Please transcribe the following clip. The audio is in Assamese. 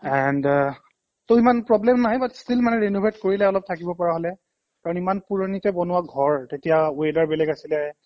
and আহ ত' ইমান problem নাই but still মানে renovate কৰিলে অলপ থাকিব পৰা হ'লে কাৰণ ইমান পুৰণিতে বনোৱা ঘৰ তেতিয়া weather বেলেগ আছিলে